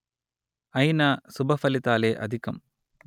అయినా శుభ ఫలితాలే అధికం